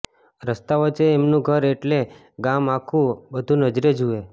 રસ્તા વચ્ચે એમનું ઘર એટલે ગામ આખું આ બધું નજરે જુએ